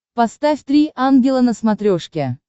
поставь три ангела на смотрешке